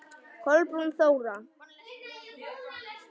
Kolbrún Þóra.